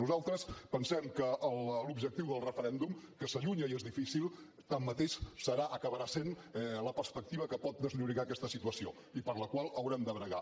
nosaltres pensem que l’objectiu del referèndum que s’allunya i és difícil tanmateix serà acabarà sent la perspectiva que pot desllorigar aquesta situació i per la qual haurem de bregar